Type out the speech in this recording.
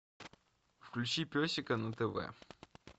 включи песика на тв